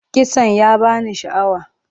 Kitson ya ba ni sha'awa.